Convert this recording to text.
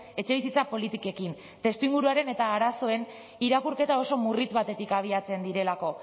etxebizitza politikekin testuinguruaren eta arazoen irakurketa oso murritz batetik abiatzen direlako